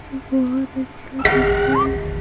जो बहुत अच्छा दिख रहा --